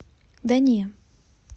да не